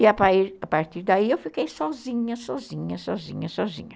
E, a partir daí, eu fiquei sozinha, sozinha, sozinha, sozinha.